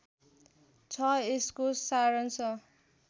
छ यसको सारांश